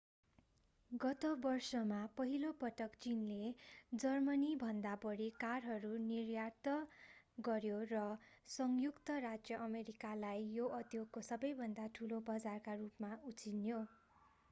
गत वर्षमा पहिलो पटक चीनले जर्मनीभन्दा बढी कारहरू निर्यात गर्‍यो र संयुक्त राज्य अमेरिकालाई यो उद्योगको सबैभन्दा ठूलो बजारका रूपमा उछिन्यो।